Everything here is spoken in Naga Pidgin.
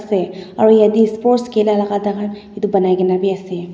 aru jatte sports khela laga thaka etu banai keni bhi ase.